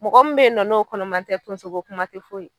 Mɔgɔ min bɛ ye nɔ n'o kɔnɔman tɛ tonsoko kuma tɛ f'o ye.